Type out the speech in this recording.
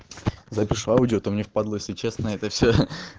запишу аудио а то мне впадло если честно это все